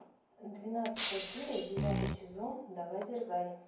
двенадцатая серия девятый сезон давай дерзай